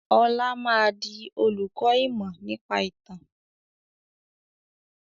Ọlá máa di olùkọ́ ìmọ̀ nípa ìtàn